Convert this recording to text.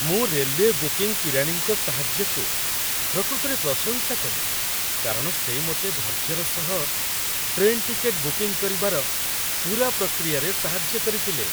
ମୁଁ railway booking କିରାଣୀଙ୍କ ସାହାଯ୍ୟକୁ ପ୍ରକୃତରେ ପ୍ରଶଂସା କଲି କାରଣ ସେ ମୋତେ ଧୈର୍ଯ୍ୟର ସହ ଟ୍ରେନ୍ ଟିକେଟ୍ ବୁକିଂ କରିବାର ପୂରା ପ୍ରକ୍ରିୟାରେ ସାହାଯ୍ୟ କରିଥିଲେ।